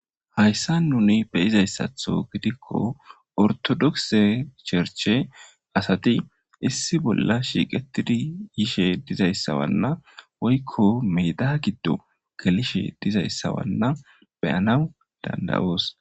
hayssa nuni beyizayssatho gidikko ortodokse sherche asati issi bolla shiiqetidi yishe dizayssawanna woykko meeda giddo gelishe dizayssawanna beyanaw dandayoos